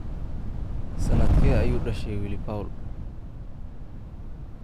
Sannadkee ayuu dhashay Willy Paul?